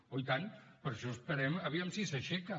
oh i tant per això esperem aviam si s’aixeca